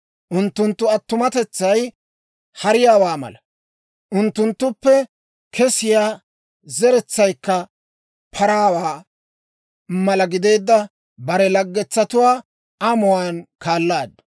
Unttunttu attumatetsay hariyaawaa mala, unttunttuppe kesiyaa zeretsaykka paraawaa mala gideedda bare laggetsatuwaa amuwaan kaalaaddu.